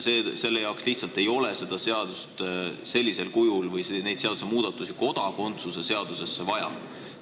Seda seadust ei ole lihtsalt sellisel kujul vaja või neid seadusmuudatusi ei ole kodakondsuse seadusesse vaja.